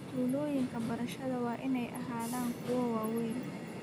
Tuulooyinka baradhada waa inay ahaadaan kuwo waaweyn